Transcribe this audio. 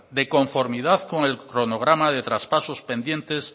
de conformidad con el cronograma de traspasos pendientes